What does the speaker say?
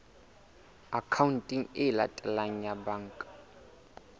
akhaonteng e latelang ya banka